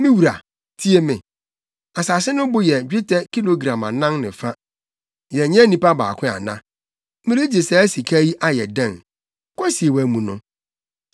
“Me wura, tie me! Asase no bo yɛ dwetɛ kilogram anan ne fa. Yɛnyɛ nnipa baako ana? Meregye saa sika yi ayɛ dɛn? Kosie wʼamu no!”